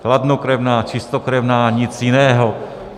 Chladnokrevná, čistokrevná, nic jiného.